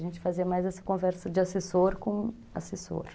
A gente fazia mais essa conversa de assessor com assessor.